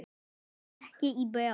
Ekki í bráð.